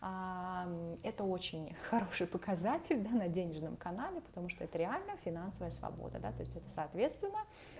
аа мм это очень хороший показатель на на денежном канале потому что это реальная финансовая свобода да то есть это соответственно